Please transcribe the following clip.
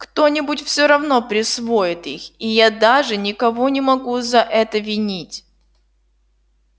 кто-нибудь всё равно присвоит их и я даже никого не могу за это винить